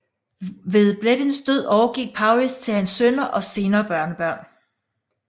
Ved Bleddyns død overgik Powys til hans sønner og senere børnebørn